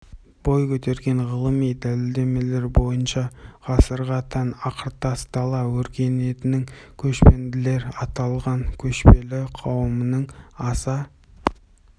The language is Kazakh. бой көтерген ғылыми дәлелдемелер бойынша ғасырға тән ақыртас дала өркениетінің көшпенділер аталған көшелі қауымның аса